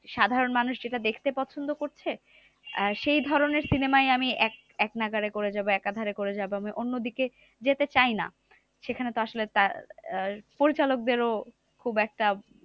সাধারণ মানুষ যেটা দেখতে পছন্দ করছে আহ সেই ধরণের cinema ই আমি এক এক নাগাড়ে করে যাবো একা ধারে করে যাবো। আমি অন্যদিকে যেতে চাই না। সেখানে তো আসলে তার আহ পরিচালক দরেও খুব একটা